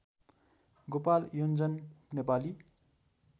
Gopal Yonjan Nepali